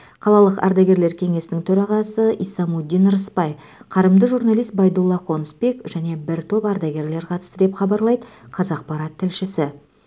қалалық ардагерлер кеңесінің төрағасы исамуддин рысбай қарымды журналист байдулла қонысбек және бір топ ардагерлер қатысты деп хабарлайды қазақпарат тілшісі